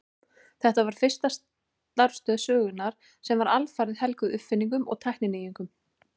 Þetta var fyrsta starfstöð sögunnar sem var alfarið helguð uppfinningum og tækninýjungum.